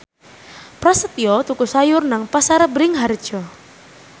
Prasetyo tuku sayur nang Pasar Bringharjo